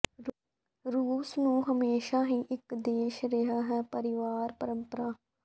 ਰੂਸ ਨੂੰ ਹਮੇਸ਼ਾ ਮਜ਼ਬੂਤ ਦੀ ਇੱਕ ਦੇਸ਼ ਰਿਹਾ ਹੈ ਪਰਿਵਾਰ ਪਰੰਪਰਾ